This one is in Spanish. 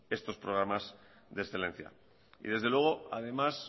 estos programas de excelencia y desde luego además